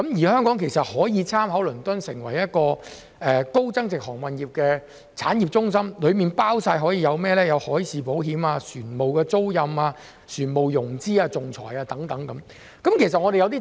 香港可以借鑒倫敦的例子，發展成為高增值航運業產業中心，提供包括海事保險、船務租賃、船務融資、仲裁等服務。